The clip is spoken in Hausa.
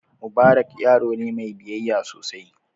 Mubarak yaro ne mai biyayya sosai.